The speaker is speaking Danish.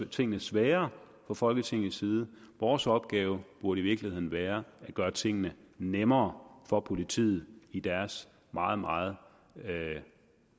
tingene sværere fra folketingets side vores opgave burde i virkeligheden være at gøre tingene nemmere for politiet i deres meget meget